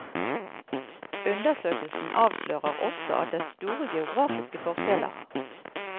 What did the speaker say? Undersøkelsen avslører også at det er store geografiske forskjeller.